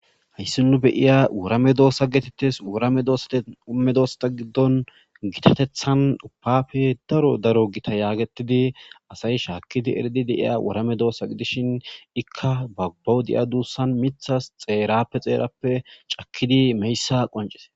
hayssi nu beyiya wurame doosa getettes wurame doosumme doosata giddon gitatethan uppapfe daro daro gita yaagetidi asayi shaakkidi eridi deiya wurame doossa gidishin ikka bagbowudiya duussan mithas xeerappe xeerappe cakidi meyssa qoncis